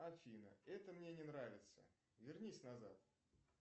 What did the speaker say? афина это мне не нравится вернись назад